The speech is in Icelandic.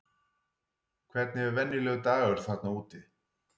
Hvernig er venjulegur dagur þarna úti?